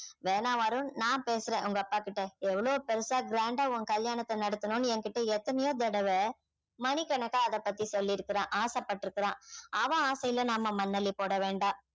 வேணாம் வருண் நான் பேசுறேன் உங்க அப்பா கிட்ட எவ்வளவு பெருசா grand ஆ உன் கல்யாணத்தை நடத்தனும்னு என்கிட்ட எத்தனையோ தடவை மணி கணக்கா அத பத்தி சொல்லி இருக்கிறான் ஆசைப்பட்டிருக்கிறான் அவன் ஆசையில நம்ம மண் அள்ளி போட வேண்டாம்